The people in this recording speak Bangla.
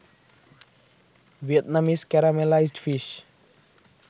Vietnamese caramelised fish